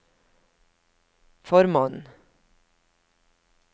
formannen